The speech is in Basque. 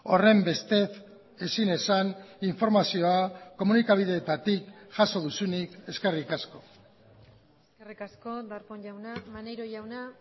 horrenbestez ezin esan informazioa komunikabideetatik jaso duzunik eskerrik asko eskerrik asko darpón jauna maneiro jauna